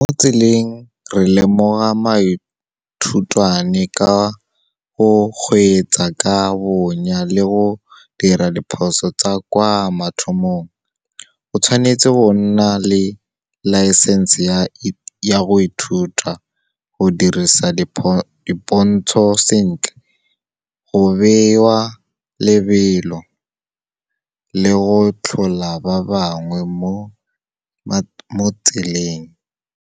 Mo tseleng, re lemoga maithutwane ka go kgweetsa ka bonya le go dira diphoso tsa kwa mathomong. O tshwanetse go nna le laesense ya go ithuta, go dirisa dipontsho sentle, go bewa lebelo le go tlhola ba bangwe mo tseleng.